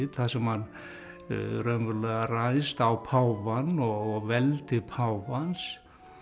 þar sem hann raunverulega ræðst á páfann og veldi páfans